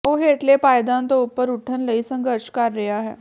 ਉਹ ਹੇਠਲੇ ਪਾਏਦਾਨ ਤੋਂ ਉੱਪਰ ਉੱਠਣ ਲਈ ਸੰਘਰਸ਼ ਕਰ ਰਿਹਾ ਹੈ